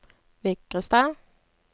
Vigrestad